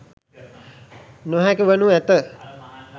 නොහැකි වනු ඇත.